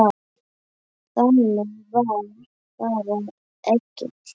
Þannig var bara Egill.